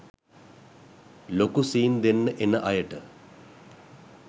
ලොකු සීන් දෙන්න එන අයට